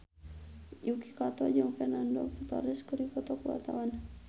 Yuki Kato jeung Fernando Torres keur dipoto ku wartawan